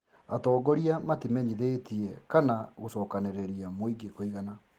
Atongoria matimenyithĩtie kana gũcokanĩrĩria mũingĩ kũigana